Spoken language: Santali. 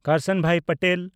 ᱠᱟᱨᱥᱟᱱᱵᱷᱟᱭ ᱯᱟᱴᱮᱞ